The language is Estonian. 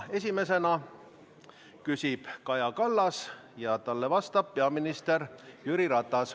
Esimesena küsib Kaja Kallas ja talle vastab peaminister Jüri Ratas.